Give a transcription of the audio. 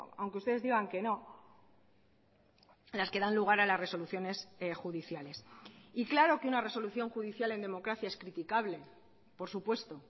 aunque ustedes digan que no las que dan lugar a las resoluciones judiciales y claro que una resolución judicial en democracia es criticable por supuesto